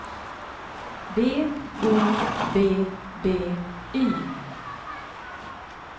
B O B B Y